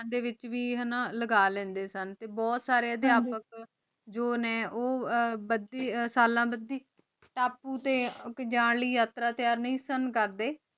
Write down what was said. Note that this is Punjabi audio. ਆਦੀ ਵੇਚ ਵੇ ਲਗਾ ਲ੍ਯੰਡੀ ਸਨ ਟੀ ਬੁਹਤ ਸਾਰੀ ਧ੍ਕਾਪਜੋਨੀ ਆਹ